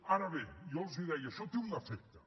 ara bé jo els deia això té un efecte